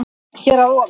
Hér að ofa